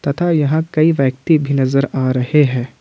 तथा यहां कई व्यक्ति भी नजर आ रहे हैं।